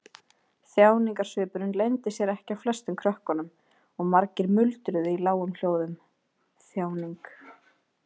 Þjáningarsvipurinn leyndi sér ekki á flestum krökkunum og margir muldruðu í lágum hljóðum: Þjáning.